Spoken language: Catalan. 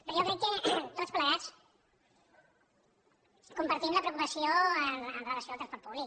però jo crec que tots plegats compartim la preocupació amb relació al transport públic